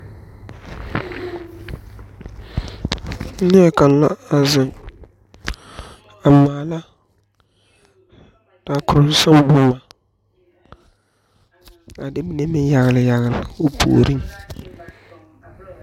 Neɛ kanga a zeng a maala taakun sanga buma a de mene meng yagle yagle ɔ poɔring.